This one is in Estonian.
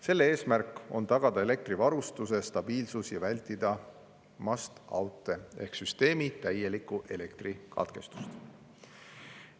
Selle eesmärk on tagada elektrivarustuse stabiilsus ja vältida must out'e ehk süsteemi täielikku elektrikatkestust.